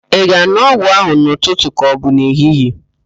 Ị ga-an̄ụ ọgwụ ahụ n'ụtụtụ ka ọbụ n'ehihie?